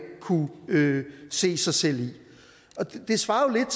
kunne se sig selv i det svarer jo